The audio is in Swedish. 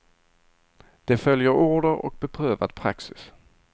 De följer order och beprövad praxis.